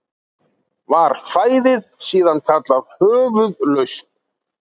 Var kvæðið síðan kallað Höfuðlausn.